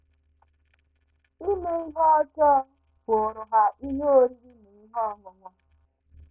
Ime ihe ọjọọ bụụrụ ha ihe oriri na ihe ọṅụṅụ.